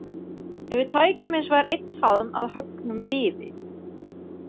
Ef við tækjum hinsvegar einn faðm af höggnum viði.